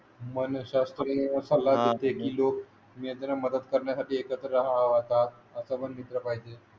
हाते की लोक त्यांना मदत करण्यासाठी एकत्र राहता असं वन मित्र पाहिजे.